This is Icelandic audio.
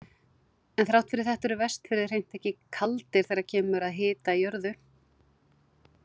En þrátt fyrir þetta eru Vestfirðir hreint ekki kaldir þegar kemur að hita í jörðu.